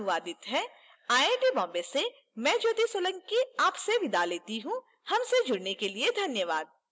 यह स्क्रिप्ट विकास द्वारा अनुवादित है आई टी बॉम्बे से मैं ज्योति सोलंकी आपसे विदा लेती हूँ हमसे जुड़ने के लिए धन्यवाद